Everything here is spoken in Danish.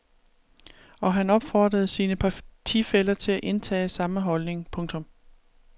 Og han opfordrede sine partifæller til at indtage samme holdning. punktum